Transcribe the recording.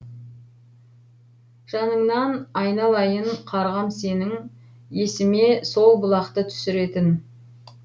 жаныңнан айналайын қарғам сенің есіме сол бұлақты түсіретін